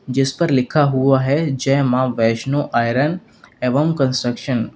जिस पर लिखा हुआ है जय मां वैष्णो आयरन एवं कंस्ट्रक्शन ।